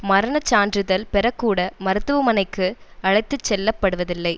மரண சான்றிதழ் பெறக்கூட மருத்துவமனைக்கு அழைத்து செல்லப்படுவதில்லை